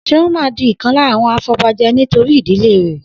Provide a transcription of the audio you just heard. Seun máa di ìkan lára àwọn afobaje nítorí ìdílé rè